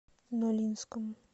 нолинском